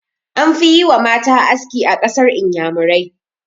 An fi yi ma mata aski a ƙasar inyamurai.